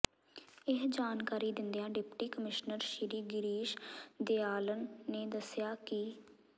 ਇਹ ਜਾਣਕਾਰੀ ਦਿੰਦਿਆਂ ਡਿਪਟੀ ਕਮਿਸ਼ਨਰ ਸ੍ਰੀ ਗਿਰੀਸ਼ ਦਿਆਲਨ ਨੇ ਦੱਸਿਆ ਕਿ